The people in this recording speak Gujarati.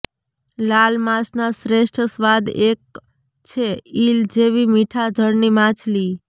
લાલ માંસ ના શ્રેષ્ઠ સ્વાદ એક છે ઈલ જેવી મીઠા જળની માછલી